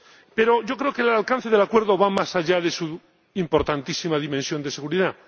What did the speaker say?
Pero yo creo que el alcance del Acuerdo va más allá de su importantísima dimensión de seguridad.